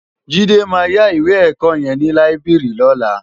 Jide má yá iwé èkò yèn ni láibiri lòlá